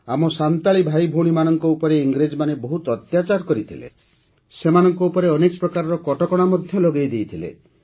ଆମ ସାନ୍ତାଳୀ ଭାଇଭଉଣୀମାନଙ୍କ ଉପରେ ଇଂରେଜମାନେ ବହୁତ ଅତ୍ୟାଚାର କରିଥିଲେ ସେମାନଙ୍କ ଉପରେ ଅନେକ ପ୍ରକାର କଟକଣା ମଧ୍ୟ ଲଗାଇ ଦେଇଥିଲେ